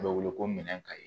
A bɛ wele ko minɛn kaye